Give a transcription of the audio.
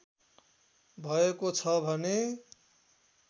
भएको छ भने